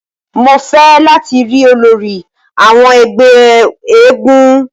Mó fẹ lati ri ólòri awọn ẹgbẹ èègún!